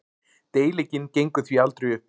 Deilingin gengur því aldrei upp.